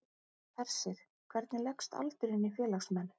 Hersir, hvernig leggst aldurinn í félagsmenn?